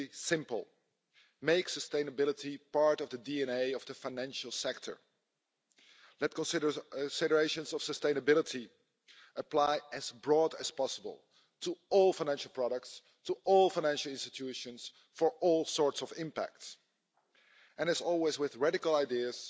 simple make sustainability part of the DNA of the financial sector. Let considerations of sustainability apply as broadly as possible to all financial products, to all financial institutions, for all sorts of impacts, and as always with radical ideas,